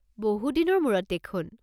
বহু দিনৰ মূৰত দেখোন?